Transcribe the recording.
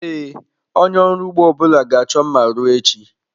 Ee, onye ọrụ ugbo ọbụla ga-achọ mma ruo echi.